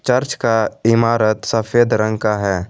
Church का इमारत सफेद रंग का है।